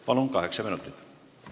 Palun, kaheksa minutit!